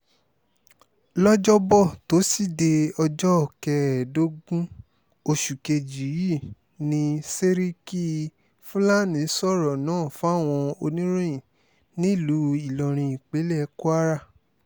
lọ́jọ́bọ́ tọ́sídẹ̀ẹ́ ọjọ́ kẹẹ̀ẹ́dógún oṣù kejì yìí ní sẹ́ríkì fúlàní sọ̀rọ̀ náà fáwọn oníròyìn nílùú ìlọrin ìpínlẹ̀ kwara